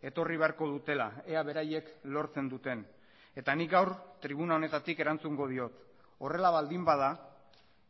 etorri beharko dutela ea beraiek lortzen duten eta nik gaur tribuna honetatik erantzungo diot horrela baldin bada